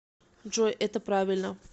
джой это правильно